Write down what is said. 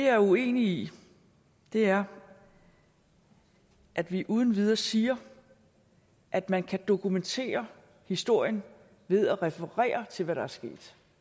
er uenig i er at vi uden videre siger at man kan dokumentere historien ved at referere til hvad der er sket